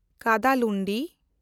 Kadalundi